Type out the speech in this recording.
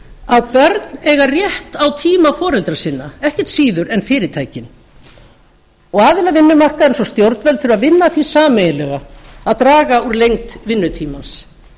að börn eiga rétt á tíma foreldra sinna ekkert síður en fyrirtækin og aðilar vinnumarkaðarins og stjórnvöld þurfa að vinna að því sameiginlega að draga úr lengd vinnutímans